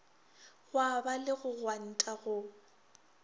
gwaba le go gwanta go